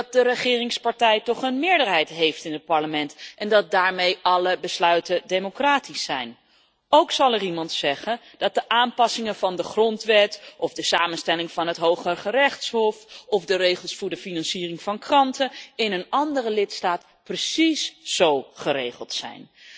Dat de regeringspartij toch een meerderheid heeft in het Parlement en dat daarmee alle besluiten democratisch zijn. Ook zal er iemand zeggen dat aanpassingen van de grondwet, de samenstelling van het Hooggerechtshof of de financiering van kranten in een andere lidstaat precies zo geregeld zijn.